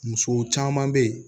Muso caman bɛ yen